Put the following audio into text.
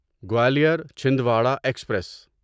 Gwalior Chhindwara express